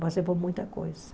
Passei por muita coisa.